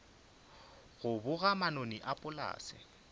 go boga manoni a polase